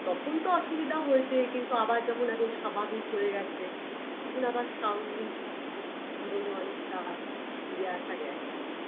তখন তো অসুবিধা হয়েছে কিন্তু আবার যখন এখন স্বাভাবিক হয়ে গেছে তখন আবার স্বাভাবিক জীবনে অনেকটা ফিরে আসা গেছে